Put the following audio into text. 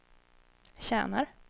tjänar